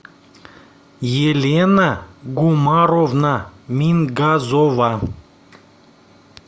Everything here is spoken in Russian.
елена гумаровна мингазова